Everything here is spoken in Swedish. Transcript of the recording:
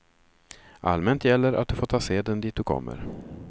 Allmänt gäller att du får ta seden dit du kommer.